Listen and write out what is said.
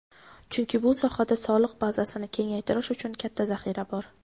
Chunki bu sohada soliq bazasini kengaytirish uchun katta zaxira bor.